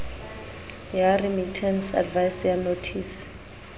ya remittance advice ya nothisi